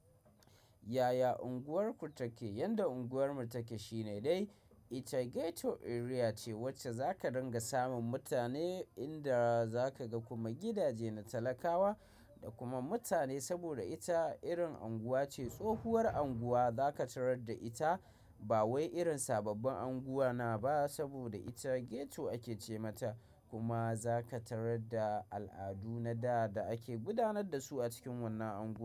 Yaya unguwarku take? Yanda unguwarmu take shine dai ita ghetto area ce wacce za ka dinga samun mutane inda za ka ga kuma gidaje na talakawa da kuma mutane. Saboda ita irin unguwa ce, tsohuwar unguwa za ka tarar da ita ba wai irin sababbin unguwanna ba saboda ita ghetto ake ce mata. Kuma za ka tarar da al'adu na da da ake gudanar da su a cikin wannan unguwa.